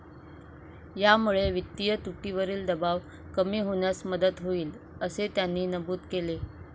यामुळे वित्तीय तुटीवरील दबाव कमी होण्यास मदत होईल, असे त्यांनी नमूद केले.